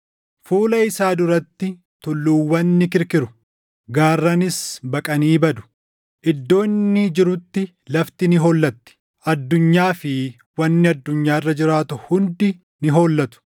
Fuula isaa duratti tulluuwwan ni kirkiru; gaarranis baqanii badu. Iddoo inni jirutti lafti ni hollatti; addunyaa fi wanni addunyaa irra jiraatu hundi ni hollatu.